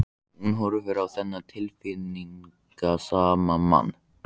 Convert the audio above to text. Hún horfir á þennan tilfinningasama mann.